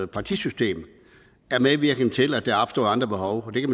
partisystem er medvirkende til at der opstår andre behov der